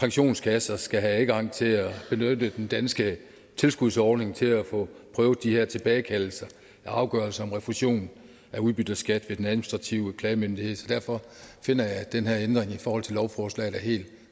pensionskasser skal have adgang til at benytte den danske tilskudsordning til at få prøvet de her tilbagekaldelser af afgørelser om refusion af udbytteskat ved den administrative klagemyndighed så derfor finder jeg at den her ændring i forhold til lovforslaget er helt